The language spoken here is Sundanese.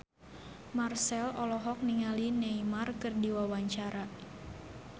Marchell olohok ningali Neymar keur diwawancara